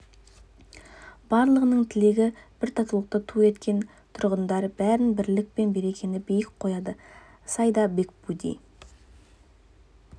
барлығының тілегі бір татулықты ту еткен тұрғындар бәрінен бірлік пен берекені биік қояды саида бекбуди